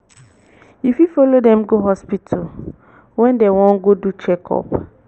you fit follow dem go dem go hospital when dem wan go do check-up